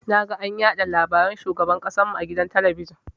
Naga an yaɗa labaran shugaban ƙasan mu a gidan talabijin.